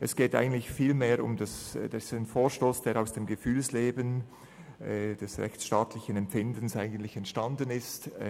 Es geht vielmehr um einen Vorstoss, der aus dem Gefühlsleben des rechtsstaatlichen Empfindens entstanden ist.